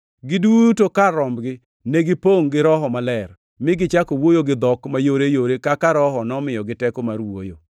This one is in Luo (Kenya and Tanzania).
Giduto kar rombgi negipongʼ gi Roho Maler, mi gichako wuoyo gi dhok mayoreyore kaka Roho nomiyogi teko mar wuoyo.